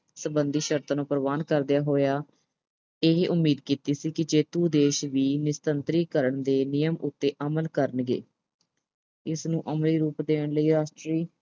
ਸਬੰਧੀ ਸ਼ਰਤਾਂ ਨੂੰ ਪ੍ਰਵਾਨ ਕਰਦਿਆਂ ਹੋਇਆਂ, ਇਹ ਉਮੀਦ ਕੀਤੀ ਸੀ ਕਿ ਜੇਤੂ ਦੇਸ਼ ਵੀ ਨਿਸ਼ਸਤਰੀਕਰਨ ਦੇ ਨਿਯਮ ਉੱਤੇ ਅਮਲ ਕਰਨਗੇ। ਇਸ ਨੂੰ ਅਮਲੀ ਰੂਪ ਦੇਣ ਲਈ ਰਾਸ਼ਟਰੀ